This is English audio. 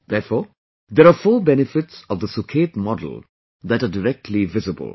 Therefore, there are four benefits of the Sukhet model that are directly visible